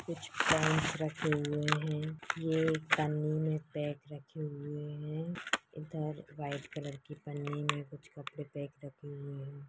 कुछ कांच रखे हुए है। एक पन्नी मे पैक रखे हुए है। इधर व्हाइट कलर की पन्नी मे कुछ कपड़े पैक रखे हुए है।